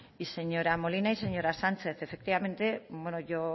y señora molina y señora sánchez efectivamente